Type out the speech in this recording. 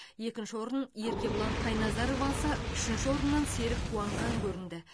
екінші орын еркебұлан қайназаров алса үшінші орыннан серік қуанған көрінді